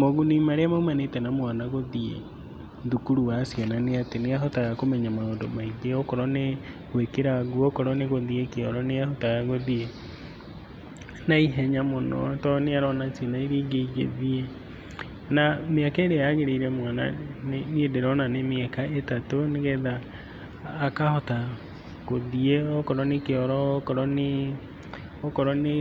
Moguni marĩa maumanĩte na mwana guthiĩ thukuru wa ciana nĩatĩ nĩahotaga kũmenya maũndũ maingĩ, okorũo nĩ gũikĩra ngũo, okorũo nĩ guthíiĩ kĩoro, nĩahotaga gũthiĩ naihenya mũno tondũ nĩarona ciana iria ingi igĩthiĩ. Na mĩaka ĩria yagĩrĩire mwana, niĩ ndĩrona nĩ miaka ĩtatu nĩgetha akahota guthíĩ okorũo nĩ kĩoro, okorũo nĩ, okorũo nĩ